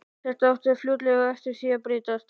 Þetta átti fljótlega eftir að breytast.